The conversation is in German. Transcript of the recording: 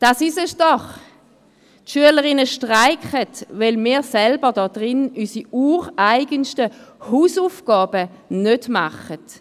Das ist es doch: Die Schülerinnen streiken, weil wir hier drin unsere ureigensten Hausaufgaben nicht machen.